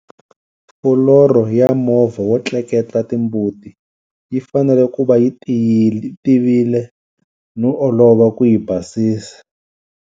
Fuloro ya movha wo tleketla timbuti yi fanele ku va yi tivile no olova ku yi basisa.